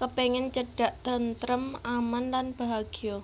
kepengen cedak tentrem aman lan bahagya